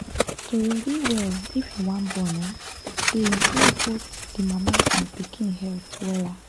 to ready well if you wan born[um]dey improve both d mama and pikin health wella